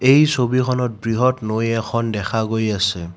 এই ছবিখনত বৃহৎ নৈ এখন দেখা গৈ আছে।